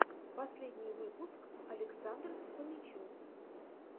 последний выпуск александр фомичев